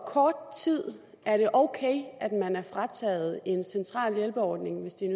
kort tid er det ok at man er frataget en central hjælpeordning hvis det er